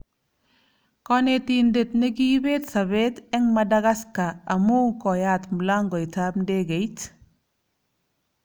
Konetindet ne kiibet sobet eng Madagascar amu "koyat mlangoitab ndekeit '